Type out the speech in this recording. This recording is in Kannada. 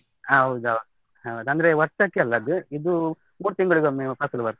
ಹೌದೌದು, ಹೌದು ಅಂದ್ರೆ ವರ್ಷಕ್ಕೆಲ್ಲ ಅದು, ಇದು ಮೂರು ತಿಂಗಳಿಗೊಮ್ಮೆಯು ಫಸಲು ಬರ್ತದೆ.